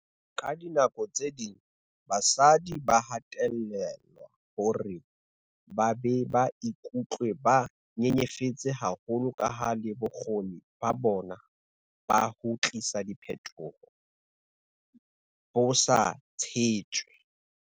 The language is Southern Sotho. "Ka dinako tse ding basadi ba hatellelwa hore ba be ba ikutlwe ba nyenyefetse haholo kaha le bokgoni ba bona ba ho tlisa diphetoho bo sa tshetjwe."